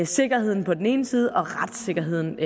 sikkerheden på den ene side og retssikkerheden